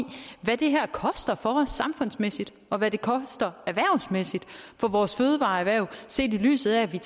hvad det her koster for os samfundsmæssigt og hvad det koster erhvervsmæssigt for vores fødevareerhverv set i lyset af at vi